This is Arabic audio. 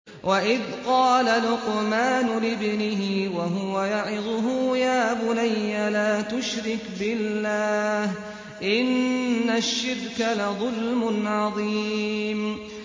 وَإِذْ قَالَ لُقْمَانُ لِابْنِهِ وَهُوَ يَعِظُهُ يَا بُنَيَّ لَا تُشْرِكْ بِاللَّهِ ۖ إِنَّ الشِّرْكَ لَظُلْمٌ عَظِيمٌ